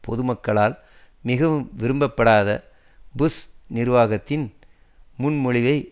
பொதுமக்களால் மிகவும் விரும்பப்படாத புஷ் நிர்வாகத்தின் முன்மொழிவை